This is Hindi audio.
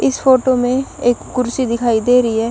इस फोटो में एक कुर्सी दिखाई दे रही है।